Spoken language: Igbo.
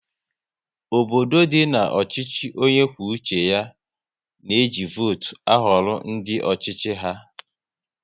Obodo dị nọ n'ọchịchị onye kwuo uche ya na eji votu ahọrọ ndị ọchịchị ha